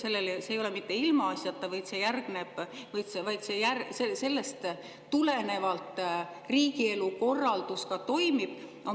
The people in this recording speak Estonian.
See ei ole ilmaasjata, sellest tulenevalt riigielu korraldus ka toimib.